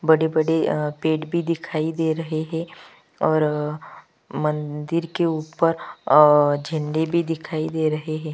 बड़ी -बड़ी अ पेट भी दिखाई दे रही है और अअअ मंदिर के ऊपर अअ झंडे भी दिखाई दे रहे है।